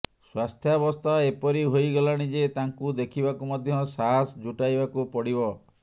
ସ୍ୱାସ୍ଥ୍ୟାବସ୍ଥା ଏପରି ହୋଇଗଲାଣି ଯେ ତାଙ୍କୁ ଦେଖିବାକୁ ମଧ୍ୟ ସାହାସ ଜୁଟାଇବାକୁ ପଡ଼ିବ